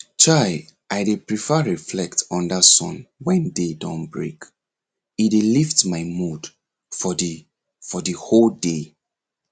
chai i prefer to reflect under sun when day don break e dey lift my mood for the for the whole day